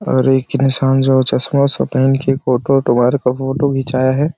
और एक इंसान है जो चश्मा -उश्मा पहन के फ़ोटो -ओटो बाहर का फोटो खिंचाया है।